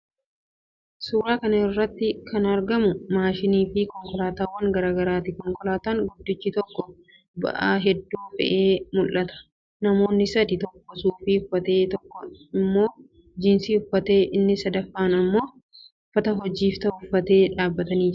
Suuraa kana irratti kan argamu maashinaafi konkolaataawwan garaa garaati. Konkolaataan guddichi tokko ba'aa hedduu fe'ee mul'ata. Namoonni sadii: tokko suufii uffatee, inni tokko immoo 'jeans' uffatee, inni sadaffaan immoo uffata hojiif ta'u uffatee dhaabbatanii jiru.